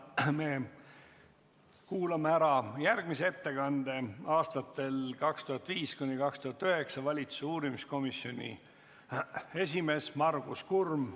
Me kuulame ära järgmise ettekande, mille teeb aastatel 2005–2009 valitsuse uurimiskomisjoni esimees olnud Margus Kurm.